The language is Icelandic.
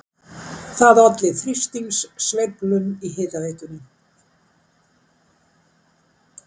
Það olli þrýstingssveiflum í hitaveitunni